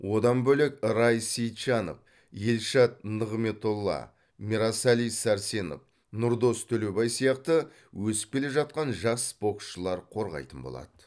одан бөлек рай сейтжанов елшат нығметолла мирасали сәрсенов нұрдос төлебай сияқты өсіп келе жатқан жас боксшылар қорғайтын болады